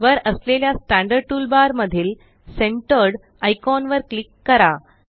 वर असलेल्या standard toolbar मधील सेंटर्ड आयकॉन वर क्लिक करा